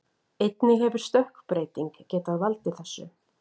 Einnig hefur stökkbreyting getað valdið þessu.